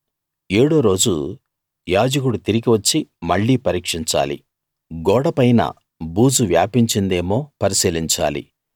ఏడో రోజు యాజకుడు తిరిగి వచ్చి మళ్ళీ పరీక్షించాలి గోడపైన బూజు వ్యాపించిందేమో పరిశీలించాలి